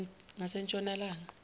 ngasentshonalanga